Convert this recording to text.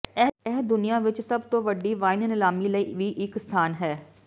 ਇਹ ਦੁਨੀਆ ਵਿਚ ਸਭ ਤੋਂ ਵੱਡੀ ਵਾਈਨ ਨੀਲਾਮੀ ਲਈ ਵੀ ਇੱਕ ਸਥਾਨ ਹੈ